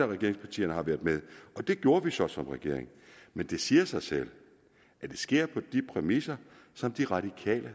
regeringspartierne har været med og det gjorde vi så som regering men det siger selvfølgelig sig selv at det sker på de præmisser som de radikale